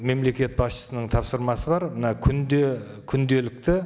мемлекет басшысының тапсырмасы бар мына күнде күнделікті